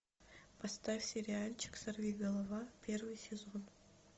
поставь сериальчик сорвиголова первый сезон